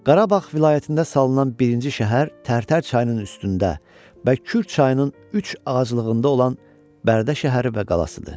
Qarabağ vilayətində salınan birinci şəhər Tərtər çayının üstündə və Kür çayının üç ağaclığında olan Bərdə şəhəri və qalasıdır.